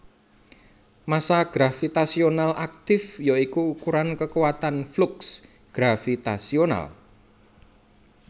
Massa gravitasional aktif ya iku ukuran kekuatan fluks gravitasional